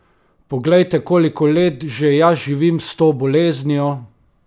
Poglejte, koliko let že jaz živim s to boleznijo!